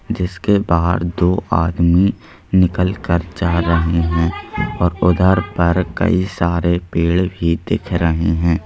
जिसके बाहर दो आदमी निकल कर जा रहे हैं और उधर पर कई सारे पेड़ भी दिख रहे हैं।